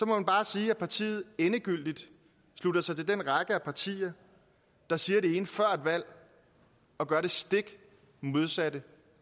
man bare sige at partiet endegyldigt slutter sig til den række af partier der siger det ene før et valg og gør det stik modsatte